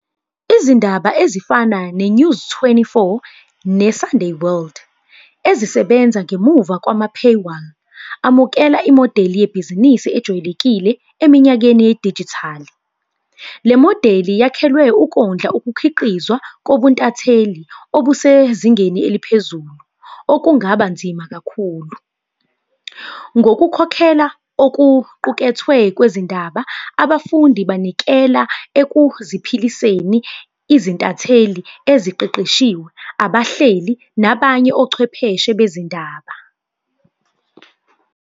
Izindaba ezifana ne-News twenty-four, ne-Sunday World, ezisebenza ngemuva kwama , amukela imodeli yebhizinisi ejwayelekile eminyakeni yedijithali. Le modeli yakhelwe ukondla ukukhiqizwa kobuntatheli obusezingeni eliphezulu, okungaba nzima kakhulu. Ngokukhokhela okuqukethwe kwezindaba, abafundi banikela ekuziphiliseni izintatheli eziqeqeshiwe, abahleli, nabanye, ochwepheshe bezindaba.